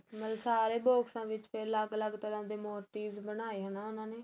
ਮਤਲਬ ਸਾਰੇ box ਦੇ ਵਿੱਚ ਫ਼ੇਰ ਅਲੱਗ ਅਲੱਗ ਤਰਾ mo tics ਬਣਾਏ ਹੈ ਉਹਨਾ ਨੇ